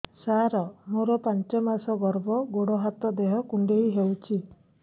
ସାର ମୋର ପାଞ୍ଚ ମାସ ଗର୍ଭ ଗୋଡ ହାତ ଦେହ କୁଣ୍ଡେଇ ହେଉଛି